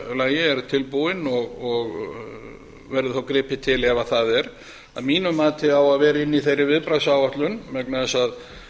lagi er tilbúin og verður þá gripið til ef það er að mínu mati á að vera inni í þeirri viðbragðsáætlun vegna þess að